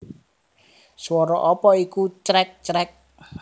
Swara apa iku crek crek